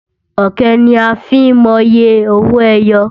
Ọ̀kẹ́ ni a fi ń mọye owo ẹyọ.